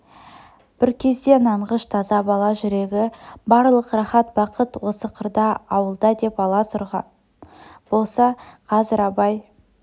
бір кезде нанғыш таза бала жүрегі барлық рахат бақыт осы қырда ауылда деп алас ұрған болса қазір абай